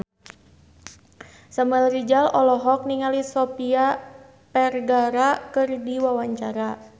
Samuel Rizal olohok ningali Sofia Vergara keur diwawancara